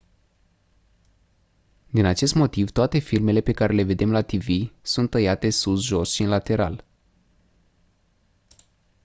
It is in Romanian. din acest motiv toate filmele pe care le vedem la tv sunt tăiate sus jos și în lateral